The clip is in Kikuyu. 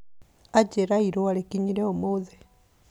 Anjĩra irũa rĩkinyire ũmũthĩ